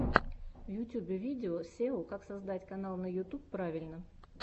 в ютьюбе видео сео как создать канал на ютуб правильно